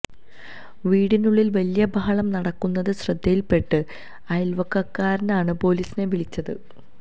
വീടിനുള്ളില് വലിയ ബഹളം നടക്കുന്നത് ശ്രദ്ധയില്പെട്ട അയല്ക്കാരാണ് പോലീസിനെ വിളിച്ചത്